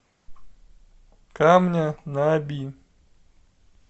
камня на оби